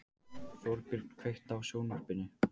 Þorbjörn, kveiktu á sjónvarpinu.